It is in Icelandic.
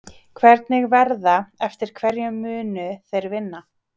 Hvernig verða, eftir hverju munu þeir vinna?